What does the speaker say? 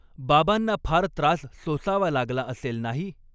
बाबांना फार त्रास सोसावा लागला असेल नाही